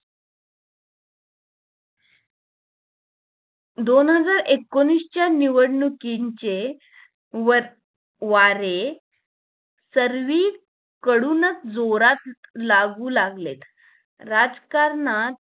दोन हजार एकोणीस च्या निवडणुकीचे वर वारे सर्विकडूनच जोरात लागू लागलेत राजकारणात